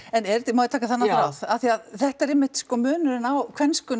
en er þetta má ég taka þennan þráð af því að þetta er einmitt munurinn á